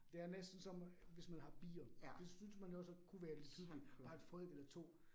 Det er næsten som, hvis man har bier. Det synes man jo også kunne være lidt hyggeligt bare 1 folk eller 2